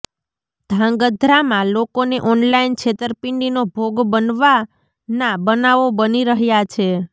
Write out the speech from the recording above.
ધ્રાંગધ્રામાં લોકોને ઓનલાઈન છેતરપીંડીનો ભોગ બનવાના બનાવો બની રહયા છે